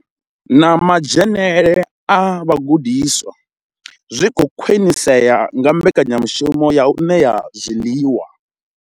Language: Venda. Na madzhenele a vhagudiswa zwi khou khwinisea nga mbekanyamushumo ya u ṋea zwiḽiwa.